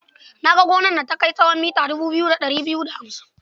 Na ga gonar da ta kai tsawon mita dubu biyu da ɗari biyu da hamsin.